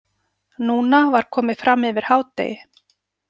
Núna var komið fram yfir hádegi.